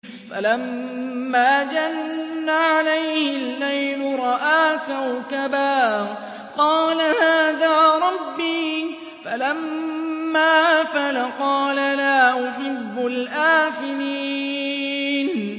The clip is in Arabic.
فَلَمَّا جَنَّ عَلَيْهِ اللَّيْلُ رَأَىٰ كَوْكَبًا ۖ قَالَ هَٰذَا رَبِّي ۖ فَلَمَّا أَفَلَ قَالَ لَا أُحِبُّ الْآفِلِينَ